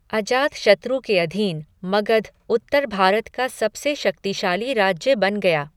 अजातशत्रु के अधीन मगध उत्तर भारत का सबसे शक्तिशाली राज्य बन गया।